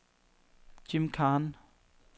Jim Khan